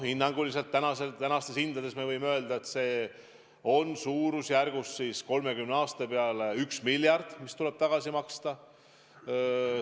Hinnanguliselt tänastes hindades võime öelda, et 30 aasta peale tuleb tagasi maksta suurusjärgus 1 miljard.